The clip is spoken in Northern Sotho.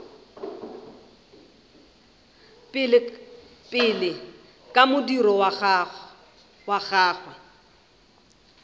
pele ka modiro wa gagwe